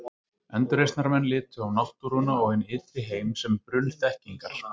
Endurreisnarmenn litu á náttúruna og hinn ytri heim sem brunn þekkingar.